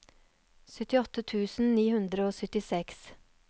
syttiåtte tusen ni hundre og syttiseks